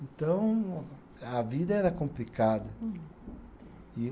Então, a vida era complicada.